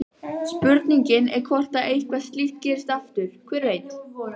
Spurningin er hvort að eitthvað slíkt gerist aftur, hver veit?